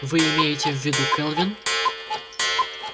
вы имеете в виду кэлвин